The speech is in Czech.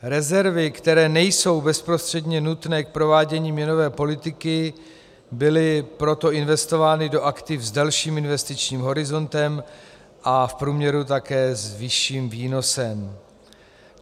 Rezervy, které nejsou bezprostředně nutné k provádění měnové politiky, byly proto investovány do aktiv s delším investičním horizontem a v průměru také s vyšším výnosem.